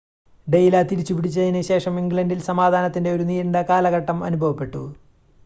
ഡെയിൻലാ തിരിച്ചു പിടിച്ചതിന് ശേഷം ഇംഗ്ലണ്ടിൽ സമാധാനത്തിൻ്റെ ഒരു നീണ്ട കാലഘട്ടം അനുഭവപെട്ടു